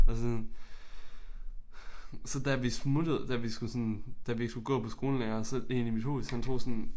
Og så og så da vi smuttede da vi skulle sådan da vi ikke skulle gå på skolen længere så én i mit hus han tog sådan